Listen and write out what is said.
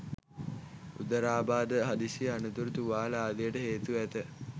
උදරාබාධ හදිසි අනතුරු තුවාල ආදියට හේතු ඇත